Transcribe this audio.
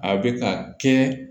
A bɛ ka kɛ